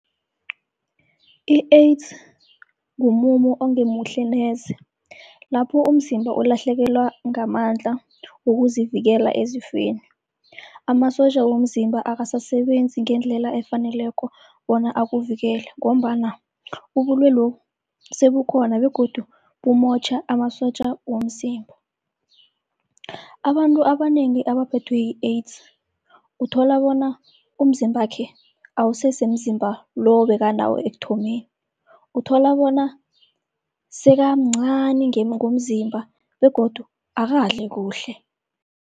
I-AIDS ngumumo ongemuhle neze, lapho umzimba ulahlekelwa ngamandla wokuzivikela ezifeni. Amasotja womzimba akasasebenzi ngendlela efaneleko bona akuvikele, ngombana ubulwelobu sebukhona begodu bumotjha amasotja womzimba. Abantu abanengi abaphethwe yi-AIDS uthola bona umzimbakhe awusese mzimba lo bekanawo ekuthomeni. Uthola bona sekamncani ngomzimba begodu akadli kuhle.